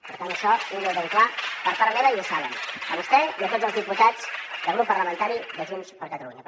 per tant això tingui ho ben clar per part meva i ja ho saben vostè i tots els diputats del grup parlamentari de junts per catalunya